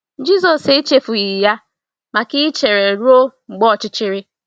Jisọs echefughị ya maka ichere ruo mgbe ọchịchịrị.